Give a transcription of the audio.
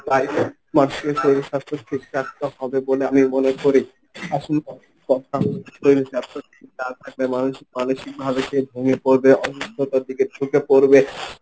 মানুষের শরীর স্বাস্থ্য ঠিক রাখতে হবে বলে আমি মনে করি। শরীল স্বাস্থ্য ঠিক না থাকলে মানুষ মানসিকভাবে সে ভেঙে পড়বে। অসুস্থতার দিকে ঝুকে পরবে।